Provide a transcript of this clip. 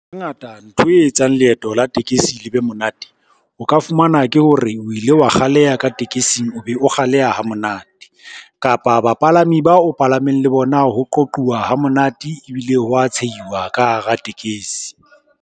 Hangata ntho e etsang leeto la tekesi le be monate. O ka fumana ke hore o ile wa kgaleha ka tekesing o be o kgaleha ha monate kapa bapalami bao palameng le bona ho qoquwa ha monate ebile hwa tshehiwa ka hara tekesi.